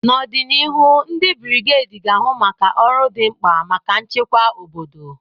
N'ọdịnihu, ndị brigedi ga-ahụ maka ọrụ dị mkpa maka nchekwa obodo.